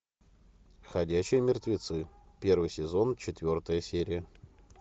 ходячие мертвецы первый сезон четвертая серия